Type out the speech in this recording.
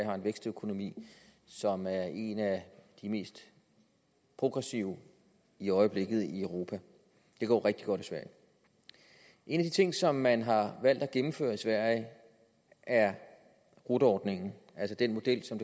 har en vækstøkonomi som er en af de mest progressive i øjeblikket i europa det går rigtig godt i sverige en af de ting som man har valgt at gennemføre i sverige er rot ordningen altså den model som